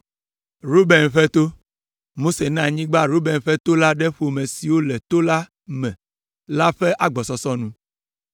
Ruben ƒe to: Mose na anyigba Ruben ƒe to la ɖe ƒome siwo le to la me la ƒe agbɔsɔsɔ nu.